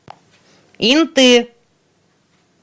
инты